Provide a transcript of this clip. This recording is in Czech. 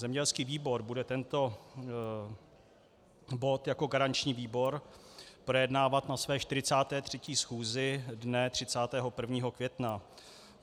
Zemědělský výbor bude tento bod jako garanční výbor projednávat na své 43. schůzi dne 31. května.